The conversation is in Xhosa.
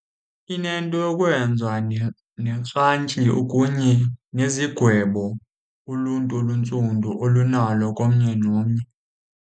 Inento yokwenza okunye nezigwebo uluntu oluntsundu olunalo komnye nomnye.